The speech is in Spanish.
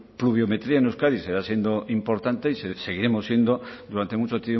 pluviometría en euskadi seguirá siendo importante y seguiremos siendo durante mucho